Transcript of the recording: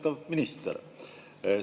Lugupeetud minister!